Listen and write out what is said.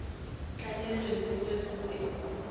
tlalelong go be go se